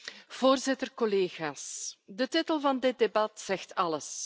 Voorzitter, collega's, de titel van dit debat zegt alles.